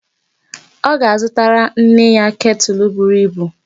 Ọ ga-azụtara nne ya ketụl buru ibu.